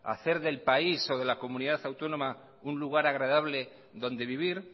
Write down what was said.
hacer del país o de la comunidad autónoma un lugar agradable donde vivir